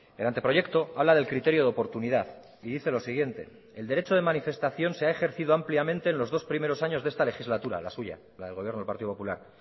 el anteproyecto habla del criterio de oportunidad y dice lo siguiente el derecho de manifestación se ha ejercido ampliamente en los dos primeros años de esta legislatura la suya la del gobierno del partido popular